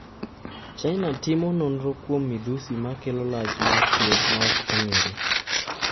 China timo nonro kuom midhusi ma kelo lach mar tuo ma ok ong'ere